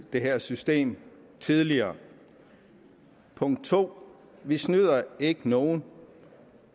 det her system tidligere punkt to vi snyder ikke nogen